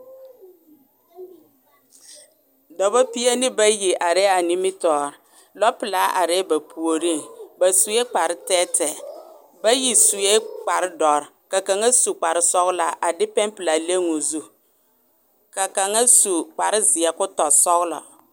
Dɔba pie ne bayi are a nimitɔre lɔ pilaa aree ba puoriŋ, ba sue kpar tɛɛ tɛɛ , bayi sue kpar dɔre ka kaŋa su kpar sɔglaa a de pɛnpilaa leŋ o zu, ka kaŋa su kpar zeɛ ko tɔ sɔglɔɔ